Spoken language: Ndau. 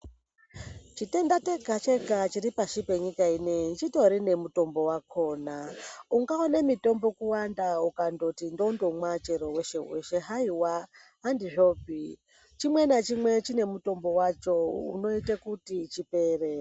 Chitenda chega chega chiri pashi penyika inei chitori nemutombo wakona ungaona mutombo kuwanda ukangoti ndondomwa weshe weshe haiwa handizvopi chimwe nachimwe chine mutombo wacho unoita kuti chipere.